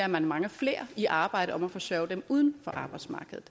man mange flere i arbejde om at forsørge dem uden for arbejdsmarkedet